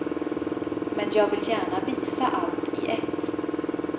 Men jag vill gärna visa allt i ett.